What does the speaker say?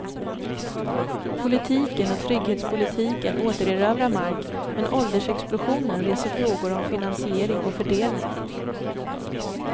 Politiken och trygghetspolitiken återerövrar mark men åldersexplosionen reser frågor om finansiering och fördelning.